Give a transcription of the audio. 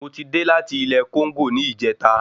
Mo ti dé láti ilé Kóńgò ní ìjẹta